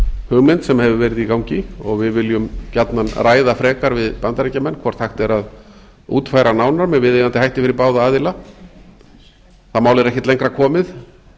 hugmynd sem hefur verið í gangi og við viljum gjarnan ræða frekar við bandaríkjamenn hvort hægt er eða útfæra nánar með viðeigandi hætti fyrir báða aðila það mál er ekkert lengra komið